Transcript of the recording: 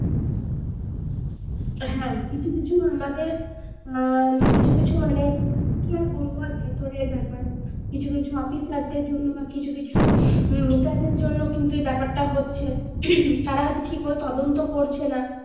হ্যাঁ কিছু কিছু আমাদের হম কিছু কিছু মানে কি আর বলবো আর ভেতরের ব্যাপার কিছু কিছু officer দের জন্য বা কিছু কিছু নেতাদের জন্য এই ব্যাপার টা হচ্ছে তারা হয়তো তদন্ত ঠিকমতো করছে না